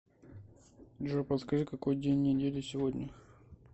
джой подскажи какой день недели сегодня